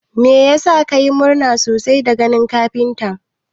Meyasa ka yi murna sosai da ganin kafintan?